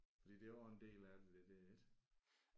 Fordi det er også en del af det der ik